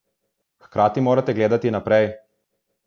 Hkrati morate gledati naprej.